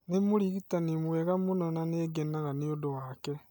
Nĩ mũrigitani mwega mũno na nĩ ngenaga nĩ ũndũ wake.